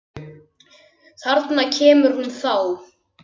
Þarna kemur hún þá!